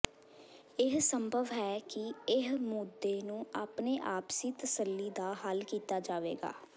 ਇਹ ਸੰਭਵ ਹੈ ਕਿ ਇਹ ਮੁੱਦੇ ਨੂੰ ਆਪਣੇ ਆਪਸੀ ਤਸੱਲੀ ਦਾ ਹੱਲ ਕੀਤਾ ਜਾਵੇਗਾ